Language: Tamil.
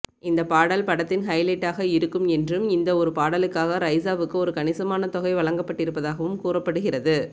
இந்த பாடல் படத்தின் ஹைலைட்டாக இருக்கும் என்றும் இந்த ஒரு பாடலுக்காக ரைசாவுக்கு ஒரு கணிசமான தொகை வழங்கப்பட்டிருப்பதாகவும் கூறப்படுகிறது